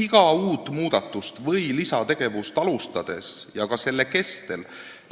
Iga uut muudatust või lisategevust alustades ja ka selle kestel